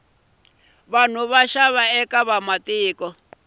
nxava eka vamatiko